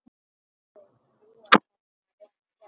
Þau búa hérna rétt hjá.